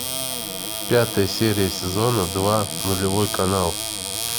пятая серия сезона два нулевой канал